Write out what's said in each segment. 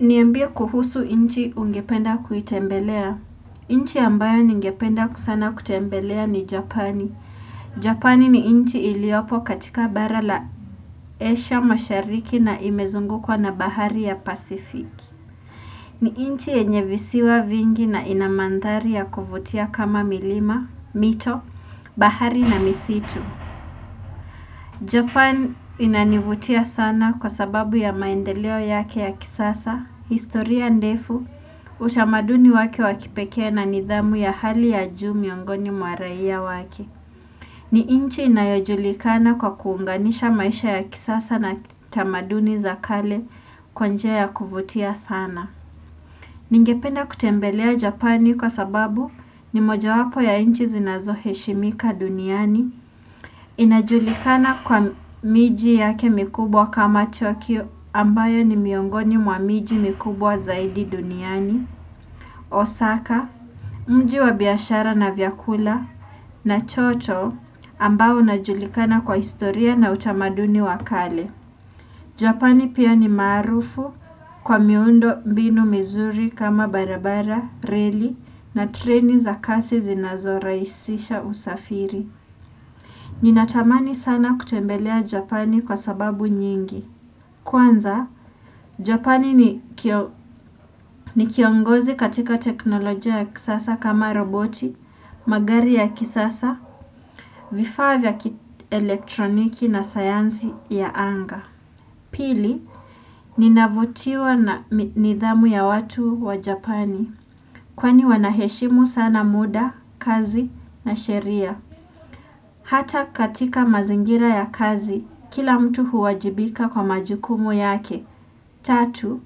Niambie kuhusu nchi ungependa kuitembelea. Nchi ambayo ningependa sana kutembelea ni Japani. Japani ni nchi iliopo katika bara la esha mashariki na imezungukwa na bahari ya Pasific. Ni nchi yenye visiwa vingi na ina mandhari ya kuvutia kama milima, mito, bahari na misitu. Japan inanivutia sana kwa sababu ya maendeleo yake ya kisasa, historia ndefu, utamaduni wake wa kipekee na nidhamu ya hali ya juu miongoni mwa raia wake. Ni nchi inayojulikana kwa kuunganisha maisha ya kisasa na tamaduni za kale kwa njia ya kuvutia sana. Ningependa kutembelea Japani kwa sababu ni mojawapo ya nchi zinazoheshimika duniani. Inajulikana kwa miji yake mikubwa kama Tokyo ambayo ni miongoni mwa miji mikubwa zaidi duniani Osaka, mji wa biashara na vyakula na choto ambayo inajulikana kwa historia na utamaduni wa kale Japani pia ni maarufu kwa miundo mbinu mizuri kama barabara, reli na treni za kasi zinazorahisisha usafiri Ninatamani sana kutembelea Japani kwa sababu nyingi. Kwanza, Japani ni kiongozi katika teknolojia ya kisasa kama roboti, magari ya kisasa, vifaa vya elektroniki na sayansi ya anga. Pili, ninavutiwa na nidhamu ya watu wa Japani. Kwani wanaheshimu sana muda, kazi na sheria. Hata katika mazingira ya kazi, kila mtu huwajibika kwa majukumu yake. Tatu,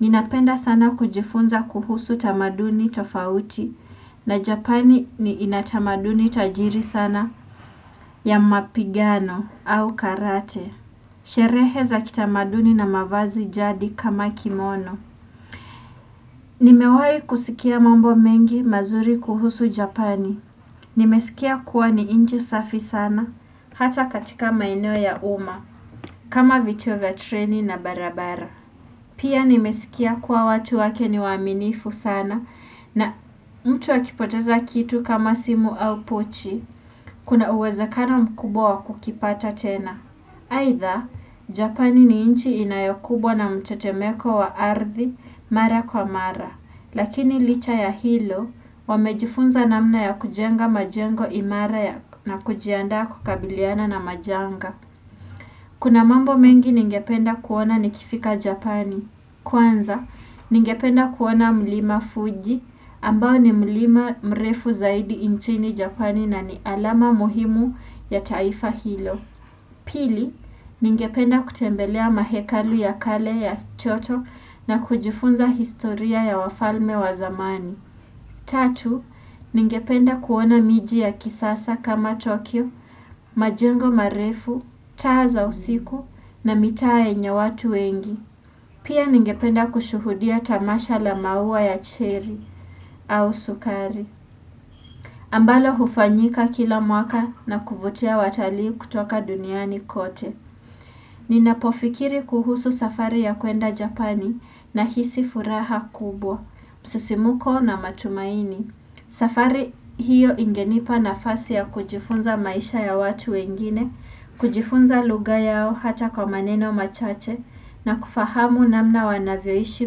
ninapenda sana kujifunza kuhusu tamaduni tofauti. Na Japani ni inatamaduni tajiri sana ya mapigano au karate. Sherehe za kitamaduni na mavazi jadi kama kimono Nimewahi kusikia mambo mengi mazuri kuhusu japani Nimesikia kuwa ni nchi safi sana Hata katika maeneo ya umma kama vito vya treni na barabara Pia nimesikia kuwa watu wake ni waaminifu sana na mtu akipoteza kitu kama simu au pochi Kuna uwezekano mkubwa wa kukipata tena aidha, Japani ni nchi inayokumbwa na mtetemeko wa ardhi mara kwa mara, lakini licha ya hilo wamejifunza namna ya kujenga majengo imara na kujiandaa kukabiliana na majanga. Kuna mambo mengi ningependa kuona nikifika Japani. Kwanza, ningependa kuona mlima Fuji ambao ni mlima mrefu zaidi nchini Japani na ni alama muhimu ya taifa hilo. Pili, ningependa kutembelea mahekali ya kale ya choto na kujifunza historia ya wafalme wa zamani. Tatu, ningependa kuona miji ya kisasa kama Tokyo, majengo marefu, taa za usiku na mitaa yenye watu wengi. Pia ningependa kushuhudia tamasha la maua ya cherry au sukari. Ambalo hufanyika kila mwaka na kuvutia watalii kutoka duniani kote. Ninapofikiri kuhusu safari ya kuenda Japani nahisi furaha kubwa, msisimko na matumaini. Safari hiyo ingenipa nafasi ya kujifunza maisha ya watu wengine, kujifunza lugha yao hata kwa maneno machache na kufahamu namna wanavyoishi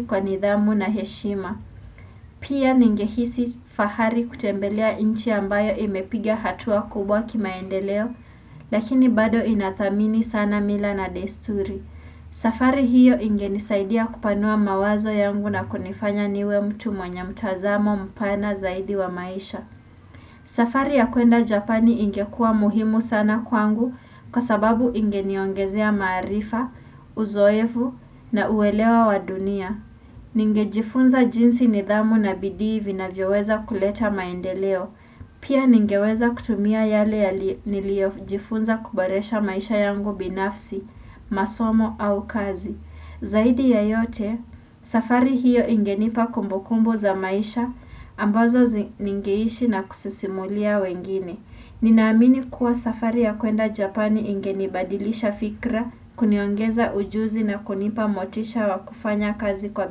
kwa nidhamu na heshima. Pia ningehisi fahari kutembelea nchi ambayo imepiga hatua kubwa kimaendeleo, lakini bado inathamini sana mila na desturi. Safari hiyo ingenisaidia kupanua mawazo yangu na kunifanya niwe mtu mwenye mtazamo mpana zaidi wa maisha. Safari ya kuenda Japani ingekua muhimu sana kwangu kwa sababu ingeniongezea maarifa, uzoevu na uelewa wa dunia. Ningejifunza jinsi nidhamu na bidii vinavyoweza kuleta maendeleo, pia ningeweza kutumia yale ya niliojifunza kuboresha maisha yangu binafsi, masomo au kazi. Zaidi ya yote, safari hiyo ingenipa kumbukumbu za maisha, ambazo ningeishi na kusisimulia wengine. Ninaamini kuwa safari ya kuenda Japani ingenibadilisha fikra, kuniongeza ujuzi na kunipa motisha wa kufanya kazi kwa.